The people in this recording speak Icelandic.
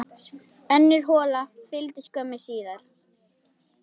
Önnur hola fylgdi skömmu síðar.